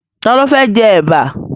Ta ló fẹ́ jẹ Ẹ̀bà?